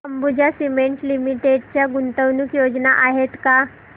Ambuja cement limited च्या गुंतवणूक योजना आहेत का